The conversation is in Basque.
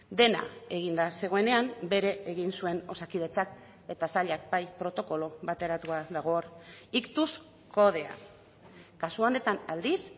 dena eginda zegoenean bere egin zuen osakidetzak eta sailak bai protokolo bateratua dago hor iktus kodea kasu honetan aldiz